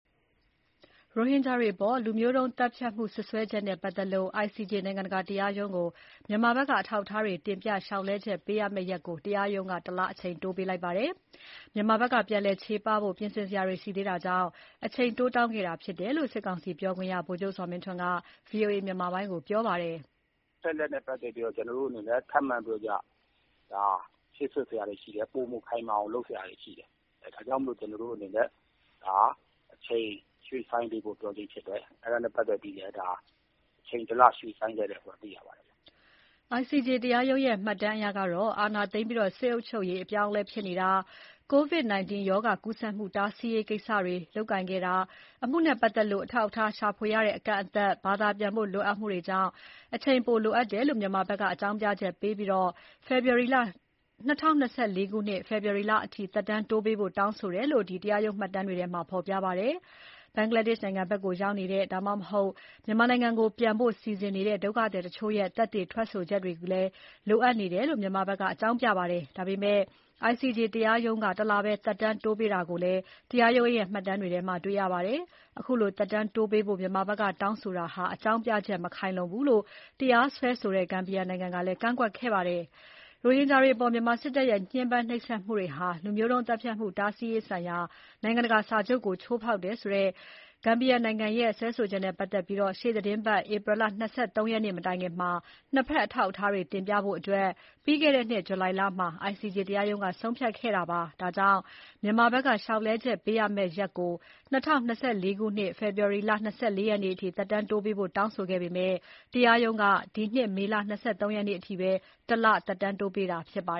ရိုဟင်ဂျာတွေအပေါ် လူမျိုးတုံးသတ်ဖြတ်မှု စွပ်စွဲချက်နဲ့ ပတ်သက်ပြီး ICJ နိုင်ငံတကာ တရားရုံးကို အထောက်အထားတွေတင်ပြ လျှောက်လဲ ချက်ပေးရမယ့်ရက်ကို တရားရုံးက ၁ လပဲ အချိန်တိုးပေးလိုက်ပါတယ်။ မြန်မာဘက်က ပြန်လည်ချေပဖို့ ပြင်ဆင်စရာတွေရှိသေးတာကြောင့် အချိန်တိုးတောင်းခဲ့တာဖြစ်တယ်လို့ စစ်ကောင်စီပြောခွင့်ရ ဗိုလ်ချုပ်ဇော်မင်းထွန်းက ဗွီအိုအေမြန်မာပိုင်းကို ပြောပါတယ်။ "အချက်အလက်နဲ့ပတ်သက်ပြီးတော့ ကျွန်တော်တို့အနေနဲ့ ထပ်မံပြောကြား ဖြည့်စွက်စရာတွေရှိတယ်။ ပိုမိုခိုင်မာအောင် လုပ်စရာတွေရှိတယ်။ ဒါကြောင့်မလို့ ကျွန်တော်တို့အနေနဲ့ အချိန်ရွှေ့ဆိုင်းပေးဖို့ ပြောခြင်းဖြစ်တယ်။ အဲဒါနဲ့ပတ်သက်ပြီးလည်း အချိန်တလရွှေ့ဆိုင်းပေးတယ်ဆိုတာသိရပါတယ်။" ICJ တရားရုံးရဲ့ မှတ်တမ်းအရတော့ အာဏာသိမ်းပြီး အုပ်ချုပ်ရေးအပြောင်းအလဲဖြစ်နေတာ၊ ကိုဗစ် 19 ရောဂါ ကူးစက်မှု တားဆီးရေး ကိစ္စတွေ လုပ်ကိုင်ခဲ့တာ၊ အမှုနဲ့ ပတ်သက်လို့ အထောက်အထား ရှာဖွေရတဲ့ အကန့်အသတ်၊ ဘာသာပြန်ဖို့ လိုတာတွေကြောင့် အချိန်ပိုလိုတယ်လို့ မြန်မာနိုင်ငံဘက်က အကြောင်းပြချက်ပေးပြီး ၂၀၂၄ ဖေဖော်ဝါရီလအထိ သက်တမ်းတိုးပေးဖို့ တောင်းဆိုတယ်လို့ ဖော်ပြထားပါတယ်။ ဘင်္ဂလားဒေ့ရှ်နိုင်ငံဘက်ကို ရောက်နေတဲ့ ဒါမှမဟုတ် မြန်မာနိုင်ငံကို ပြန်ပို့ဖို့ စီစဉ်နေတဲ့ ဒုက္ခသည်တချို့ရဲ့ သက်သေထွက်ဆိုချက်တွေလည်း လိုအပ်နေတယ်လို့လည်း မြန်မာနိုင်ငံဘက်က အကြောင်းပြပါတယ်။ ဒါပေမဲ့ ICJ တရားရုံးက ၁ လပဲ သက်တမ်းတိုးပေးထားတာကို တရားရုံးမှတ်တမ်းတွေမှာ ဖော်ပြပါတယ်။ ခုလို သက်တမ်းတိုးပေးဖို့ မြန်မာနိုင်ငံဘက်က တောင်းဆို တာဟာ အကြောင်းပြချက် မခိုင်လုံဘူးလို့ တရားစွဲဆိုတဲ့ ဂမ်ဘီယာနိုင်ငံက ကန့်ကွက်ခဲ့ပါတယ်။ ရိုဟင်ဂျာတွေအပေါ် မြန်မာစစ်တပ်ရဲ့ ညှဉ်းပန်းနှိပ်စက်မှုတွေဟာ လူမျိုးတုံး သတ်ဖြတ်မှုတားဆီးရေးဆိုင်ရာ နိုင်ငံတကာစာချုပ်ကို ချိုးဖေါက်တယ်ဆိုတဲ့ ဂမ်ဘီယာနိုင်ငံရဲ့ စွဲဆိုချက်နဲ့ ပတ်သက်ပြီး အခုနှစ် ဧပြီလ ၂၃ ရက်နေ့ မတိုင်ခင် နှစ်ဘက် အထောက်အထားတွေ တင်ပြဖို့ ပြီးခဲ့တဲ့နှစ် ဂျုလိုင်လမှာ ICJ တရားရုံးက ဆုံးဖြတ်ထားတာဖြစ်ပါတယ်။ ဒါကြောင့် မြန်မာဘက်က လျှောက်လဲချက်ပေးရမယ့်ရက်ကို ၂၀၂၄ ခု နှစ် ဖေဖေါ်ဝါရီလ ၂၄ ရက်နေ့အထိ သက်တမ်းတိုးပေးဖို့ တောင်းဆိုခဲ့ပေမယ့် တရားရုံးက ဒီနှစ်မေလ ၂၃ အထိ ၁ လပဲ အချိန်တိုးပေးတာဖြစ်ပါ